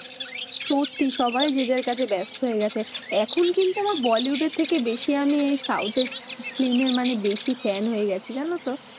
সত্যি সবাই যে যার কাজে ব্যস্ত হয়ে গেছে এখন কিন্তু আমার bollywood এর থেকে বেশি আমি south এর film এর মানে বেশি fan হয়ে গেছি জানো তো।